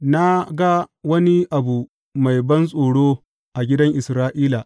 Na ga wani abu mai bantsoro a gidan Isra’ila.